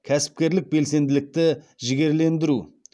кәсіпкерлік белсенділікті жігерлендіру